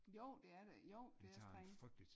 Jo det er det jo det er streng